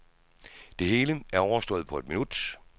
Det hele er overstået på et minut.